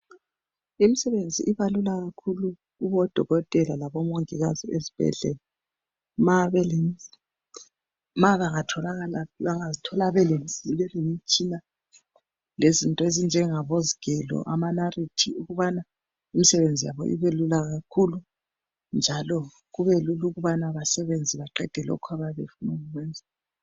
imisebenzi ibalula kakhulu kubodokotela labomongikazi ezibhedlela nxa bengazithola bele mitshina lezinto ezinjengabo zigelo lama narithi ukubana imisebenzi yabo ibe lula kakhulu njalo kubelula ukubana besebenze baqhede lokho akade befuna ukukwenza